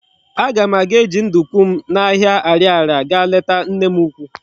Aga m aga eji nduku m na ahia Ariaria ga leta nne m ukwu